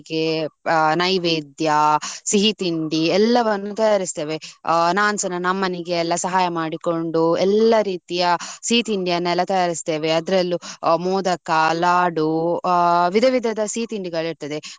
ಆ ನೈವೇದ್ಯ ಸಿಹಿ ತಿಂಡಿ ಎಲ್ಲವನ್ನು ತಯಾರಿಸುತ್ತೇವೆ. ಆ ನಾನು ಸಹ ನನ್ನ ಅಮ್ಮ ನಿಗೆ ಎಲ್ಲಾ ಸಹಾಯ ಮಾಡಿಕೊಂಡು. ಎಲ್ಲಾ ರೀತಿಯ ಸಿಹಿ ತಿಂಡಿಯನ್ನು ಎಲ್ಲ ತಯಾರಿಸುತ್ತೇವೆ. ಅದ್ರಲ್ಲೂ ಮೋದಕ ಲಾಡು ಆ ವಿಧ ವಿಧದ ಅ ಸಿಹಿ ತಿಂಡಿಗಳು ಇರ್ತದೆ.